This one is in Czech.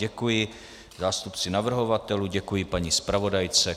Děkuji zástupci navrhovatelů, děkuji paní zpravodajce.